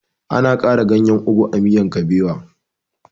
Ana ƙara ganyen ogu a miyan kuɓewa